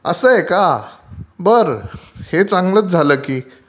असं आहे का? बर हे चांगलचं झालं